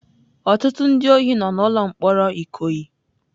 Ọtụtụ ndị ohi nọ n'ụlọ mkpọrọ Ikoyi.